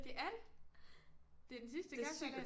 Det er det det er den sidste kapsejlads